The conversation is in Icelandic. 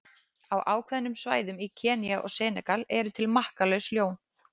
Á ákveðnum svæðum í Kenía og í Senegal eru til makkalaus ljón.